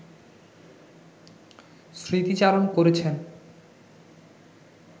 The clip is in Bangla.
স্মৃতিচারণ করেছেন